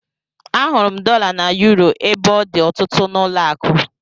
Ahụrụ m dọla na yuro ebe ọ dị ọtụtụ n'ụlọakụ